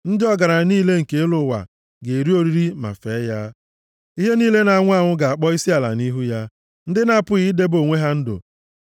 Ndị ọgaranya niile nke elu ụwa ga-eri oriri ma fee ya; ihe niile na-anwụ anwụ ga-akpọ isiala nʼihu ya; ndị na-apụghị idebe onwe ha ndụ.